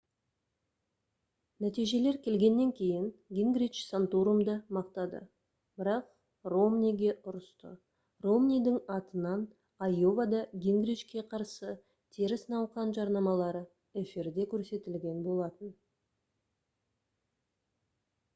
нәтижелер келгеннен кейін гингрич санторумды мақтады бірақ ромниге ұрысты ромнидің атынан айовада гингричке қарсы теріс науқан жарнамалары эфирде көрсетілген болатын